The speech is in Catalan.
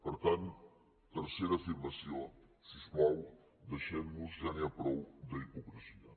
per tant tercera afirmació si us plau deixem·nos ja n’hi ha prou d’hipocresia